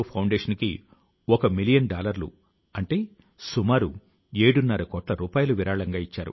పుస్తక పఠనం అభిరుచి అద్భుతమైన సంతోషాన్ని ఇస్తుంది